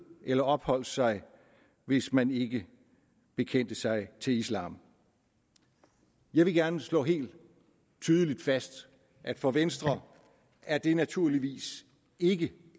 eller opholdt sig hvis man ikke bekendte sig til islam jeg vil gerne slå helt tydeligt fast at for venstre er det naturligvis ikke